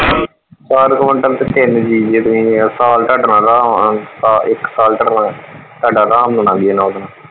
ਚਾਰ ਕਵਿੰਟਲ ਤੇ ਤਿੰਨ ਜੀ ਜੇ ਤੁਸੀਂ ਇਸ ਸਾਲ ਇੱਕ ਟਾਡਾ ਅਰਾਮ ਨਾਲ ਲੰਘ ਜਾਣਾ ਓਹਦੇ ਨਾਲ।